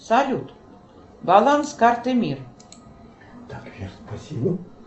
салют баланс карты мир